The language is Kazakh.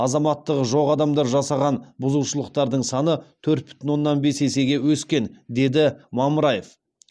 азаматтығы жоқ адамдар жасаған бұзушылықтардың саны төрт бүтін оннан бес есеге өскен деді мамыраев